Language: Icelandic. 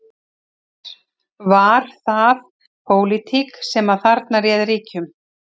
Er, var það pólitík sem að þarna réði ríkjum?